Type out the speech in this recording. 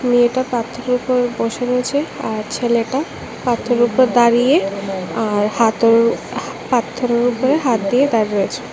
মেয়েটা পাথরের উপর বসে রয়েছে আর ছেলেটা পাথরের উপর দাঁড়িয়ে আর হাতের-পাথরের উপর হাত দিয়ে দাঁড়িয়ে আছে।